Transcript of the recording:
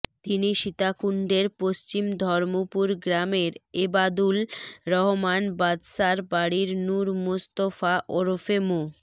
তিনি সীতাকুণ্ডের পশ্চিম ধর্মপুর গ্রামের এবাদুল রহমান বাদশার বাড়ির নুর মোস্তফা ওরফে মো